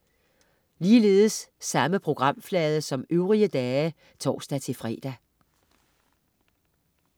Samme programflade som øvrige dage (tors-fre)